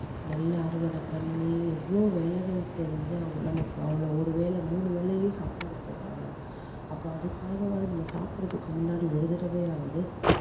நெல்லை அறுவடை பண்ணி எவ்வளவோ வேலைகள் செஞ்சு நமக்கு அவ்வளவு ஒரு வேளை மூணு வேளையும் சாப்பாடு போடுறாங்க அப்போ அதுக்காகவாவது நம்ம சாப்புடறதுக்கு முன்னாடி ஒரு தடவையாவது